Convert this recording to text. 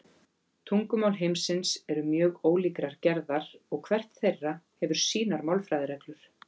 Tungumál heimsins eru mjög ólíkrar gerðar og hvert þeirra hefur sínar málfræðireglur.